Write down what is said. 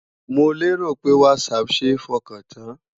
Mo lérò pé Whatsapp ṣe é fọkàn tán?